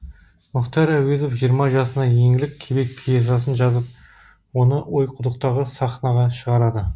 мұхтар әуезов жиырма жасында еңлік кебек пьесасын жазып оны ойқұдықтағы сахнаға шығарады